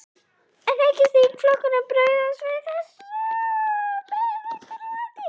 En hyggst þingflokkurinn bregðast við þessu með einhverjum hætti?